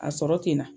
A sɔrɔ tɛ n na